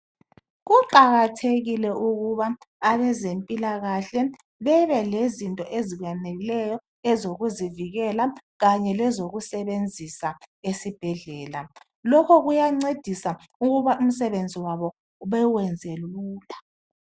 Kuqakathekile ukuba abezempilakahle bebe lezinto ezaneleyo ezokuzivikela kanye lezokusebenzisa esibhedlela. Lokho kuyancedisa ukuba umsebenzi wabo bewenze lula.